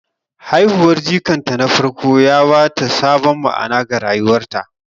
Haihuwar jikanta na farko ya ba ta sabon ma'ana ga rayuwarta.